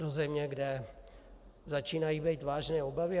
Do země, kde začínají být vážné obavy?